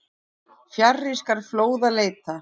Fjarri skal fljóða leita.